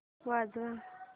वाजव